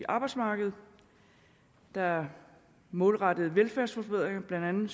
arbejdsmarkedet der er målrettede velfærdsforbedringer blandt andet